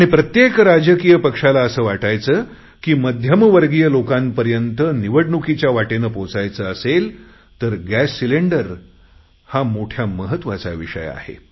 आणि प्रत्येक राजकीय पक्षाला असे वाटायचे की मध्यमवर्गीय लोकांपर्यंत निवडणुकीच्या वाटेने पोचायचे असेल तर गॅस सिलेंडर हा मोठा महत्त्वाचा विषय आहे